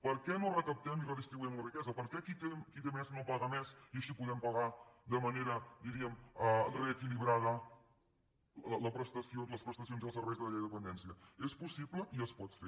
per què no recaptem i redistribuïm la riquesa per què qui té més no paga més i així podem pagar de manera reequilibrada les prestacions i els serveis de la llei de dependència és possible i es pot fer